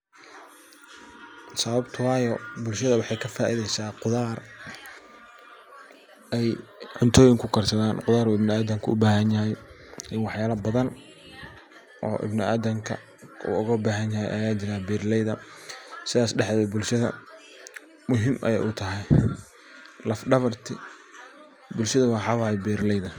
Sawabtu wayo bulshadhu waxey kafaaidheysa quthaar ey cuntooyin kukarsathan quthar ibnu aadanka ubaahanyahay iyo waxyaabo badhan oo ibnu aadhanka uu oga baahanyahay aya jiraan beraleeydha sidhas dhaxdheedh bulshadha muhiim ayey utahay laff dhabarta bulshadha wa beraleeydha